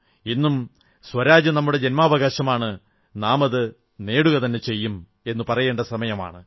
ഇന്നും സ്വരാജ് നമ്മുടെ ജന്മാവകാശമാണ് നാമതു നേടുകതന്നെ ചെയ്യും എന്നു പറയേണ്ട സമയമാണ്